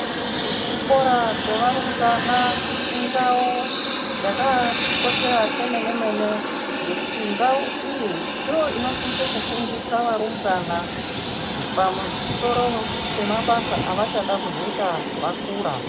Kuzvikora zvevarumbwana indau yakatikoshera kwemene mene ngekuti ndau iyi ndoinosisa kufundisa varumbwana pamusoro pemabasa avachada kuzoita vakura.